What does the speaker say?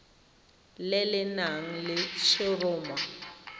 le le nang le letshoroma